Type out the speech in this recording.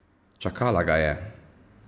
Čakala ga je!